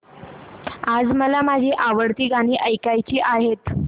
आज मला माझी आवडती गाणी ऐकायची आहेत